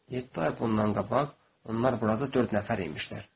Yeddi ay bundan qabaq onlar burada dörd nəfər imişlər.